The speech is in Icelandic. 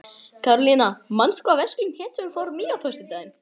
Karólína, manstu hvað verslunin hét sem við fórum í á föstudaginn?